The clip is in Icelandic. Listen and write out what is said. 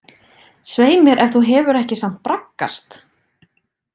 Svei mér ef þú hefur ekki samt braggast!